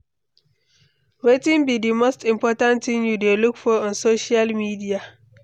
Wetin be di most important thing you dey look for on social media?